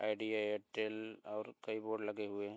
Idea Airtel और कई board लगे हुए हैं।